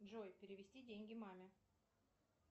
джой перевести деньги маме